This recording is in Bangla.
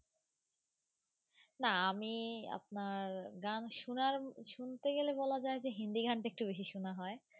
না আমি আপনার গান শুনার শুনতে গেলে বলা যায় যে হিন্দি গানটা একটু বেশি শোনা হয়.